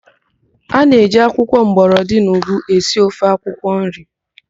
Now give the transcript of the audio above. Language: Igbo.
A na-eji akwụkwọ mgbọrọdị na ụgụ esi ofe akwụkwọnri